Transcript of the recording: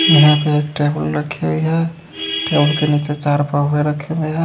यहां पे एक टेबल रखा गया टेबल के नीचे चार पउवे रखा गया --